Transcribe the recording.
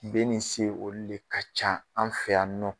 B nin S olu de ka ca an fɛ yan nɔ.